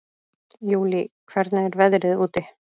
Júlí, hvernig er veðrið úti?